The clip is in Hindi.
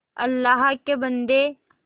अल्लाह के बन्दे